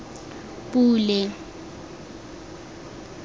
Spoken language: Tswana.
pule